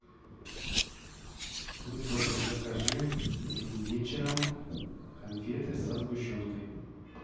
будь добр закажи вечером конфеты со сгущенкой